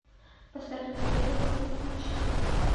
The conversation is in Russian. поставь наследие фул эйч ди